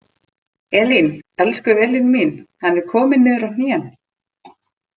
Elín, elsku Elín mín, hann er kominn niður á hnén!